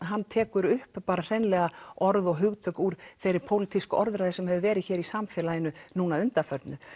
hann tekur upp orð og hugtök úr þeirri pólitísku orðræðu sem hefur verið hér í samfélaginu núna að undanförnu